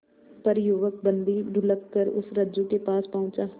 पर युवक बंदी ढुलककर उस रज्जु के पास पहुंचा